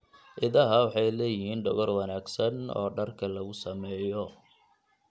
Idaha waxay leeyihiin dhogor wanaagsan oo dharka lagu sameeyo.